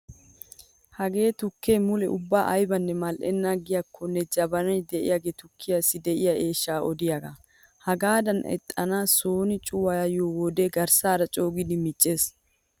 Hagee tukkee mule ubba aybanne mal'enna giyaakkonne jabani de'iyaage tukkiyaassi de'iya eeshshaa odiyaagaa. Hagaadan ixaanaa sooni cuwayiyo wode garssay coogidi miiccees.